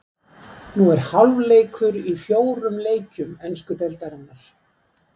Nú er hálfleikur í fjórum leikjum ensku deildarinnar.